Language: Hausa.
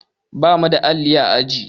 Ba mu da alli a aji.